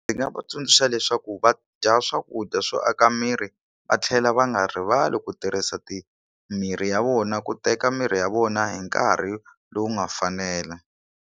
Ndzi nga va tsundzuxa leswaku va dya swakudya swo aka miri va tlhela va nga rivali ku tirhisa ti miri ya vona ku teka mirhi ya vona hi nkarhi lowu nga fanela.